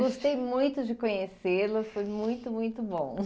Gostei muito de conhecê-la, foi muito, muito bom.